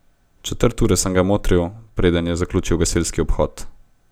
Četrt ure sem ga motril, preden je zaključil gasilski obhod.